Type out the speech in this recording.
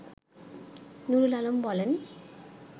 নুরুল আলম বলেন